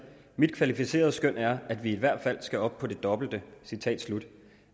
mit kvalificerede skøn er at vi i hvert fald skal op på det dobbelte